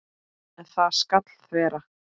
En það skal þvera.